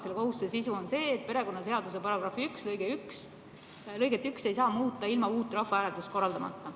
Selle kohustuse sisu on see, et perekonnaseaduse § 1 lõiget 1 ei saa muuta ilma uut rahvahääletust korraldamata.